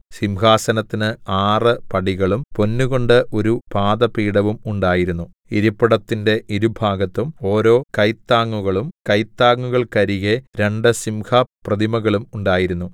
സിംഹാസനത്തിന് ആറ് പടികളും പൊന്നുകൊണ്ട് ഒരു പാദപീഠവും ഉണ്ടായിരുന്നു ഇരിപ്പിടത്തിന്റെ ഇരുഭാഗത്തും ഓരോ കൈത്താങ്ങുകളും കൈത്താങ്ങുകൾക്കരികെ രണ്ടു സിംഹ പ്രതിമകളും ഉണ്ടായിരുന്നു